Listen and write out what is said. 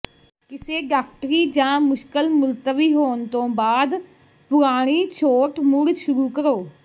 ਕਿਸੇ ਡਾਕਟਰੀ ਜਾਂ ਮੁਸ਼ਕਲ ਮੁਲਤਵੀ ਹੋਣ ਤੋਂ ਬਾਅਦ ਪੁਰਾਣੀ ਛੋਟ ਮੁੜ ਸ਼ੁਰੂ ਕਰੋ